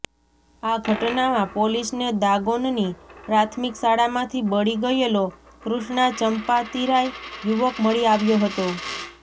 આ ઘટનામાં પોલીસને દાગોનની પ્રાથમિક શાળામાંથી બળી ગયેલો કૃષ્ણા ચંપાતિરાય યુવક મળી આવ્યો હતો